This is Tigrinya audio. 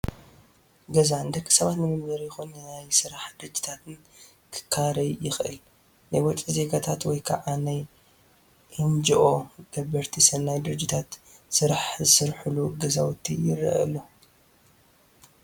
ገዛ ንደቂ ሰባት ንመንበሪ ይኹን ንናይ ስራሕ ድርጅታት ክካረይ ይኽእል፡፡ ናይ ውጪ ዜጋታት ወይ ከዓ ናይ ኤንጅኦ ገበርቲ ሰናይ ድርጅታት ስራሕ ዝሰርሑሉ ገዛውቲ ይረአ ኣሎ፡፡